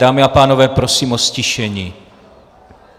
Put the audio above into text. Dámy a pánové, prosím o ztišení.